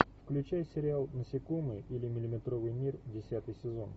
включай сериал насекомые или миллиметровый мир десятый сезон